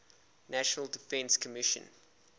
national defense commission